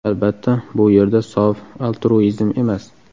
Albatta, bu yerda sof altruizm emas.